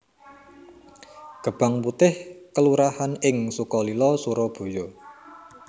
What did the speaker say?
Gebang Putih kelurahan ing Sukalila Surabaya